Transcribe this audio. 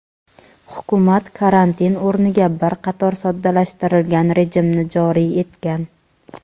hukumat karantin o‘rniga bir qator soddalashtirilgan rejimni joriy etgan.